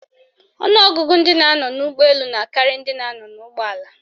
Ọnụọgụgụ ndị na-anọ n'ụgbọelu na akarị ndị nọ n'ụgbọala